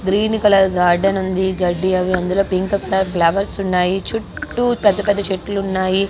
Green colour garden ఉంది అందులో గడ్డి అవి పింక్ కలర్ ఫ్లవర్స్ ఉన్నాయ్ చుట్టూ పెద్ద పేద చెట్లు ఉన్నాయ్.